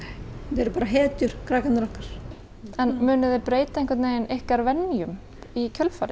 þau eru bara hetjur krakkarnir okkar munið þið breyta ykkar venjum í kjölfarið